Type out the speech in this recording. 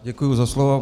Děkuji za slovo.